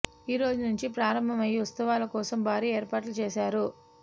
ఈ రోజు నుంచి ప్రారంభమయ్యే ఉత్సవాల కోసం భారీ ఏర్పాట్లు చేశారు